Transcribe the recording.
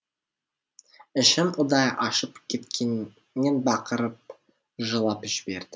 ішім удай ашып кеткеннен бақырып жылап жібердім